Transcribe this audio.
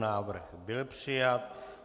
Návrh byl přijat.